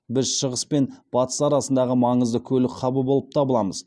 біз шығыс пен батыс арасындағы маңызды көлік хабы болып табыламыз